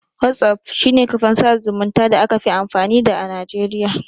Whatsapp shi ne kafan sada zumunta da aka fi amfani da a najeriya.